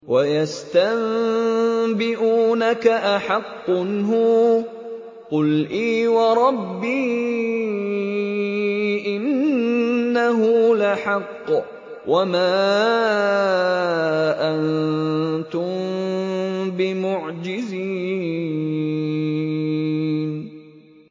۞ وَيَسْتَنبِئُونَكَ أَحَقٌّ هُوَ ۖ قُلْ إِي وَرَبِّي إِنَّهُ لَحَقٌّ ۖ وَمَا أَنتُم بِمُعْجِزِينَ